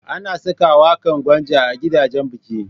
Ana saka waƙan Gwanja a gidajan biki.